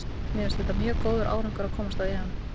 Mér finnst þetta mjög góður árangur að komast á EM.